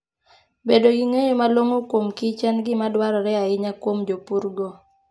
Bedo gi ng'eyo malong'o kuom kich en gima dwarore ahinya kuom jopurgo.